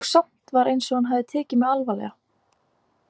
Og samt var eins og hann hefði tekið mig alvarlega.